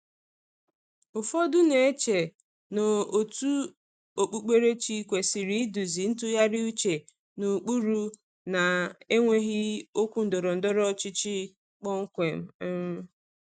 Ụfọdụ na-eche na òtù okpukperechi kwesịrị iduzi ntụgharị uche n’ụkpụrụ na-enweghị okwu ndọrọ ndọrọ ọchịchị kpọmkwem. um